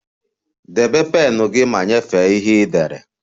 Debe pen gị ma nyefee ihe ị dere!